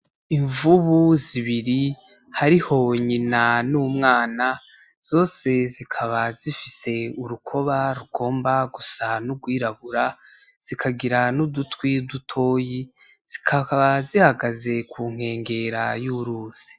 Imvubu zibiri hariho nyina n'umwana, zose zikaba zifise urukoba rugomba gusa n'urwirabura zikagira n'udutwi dutoyi zikaba zihagaze kunkengera y'uruzi .